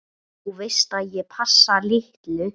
Þú veist ég passa litlu.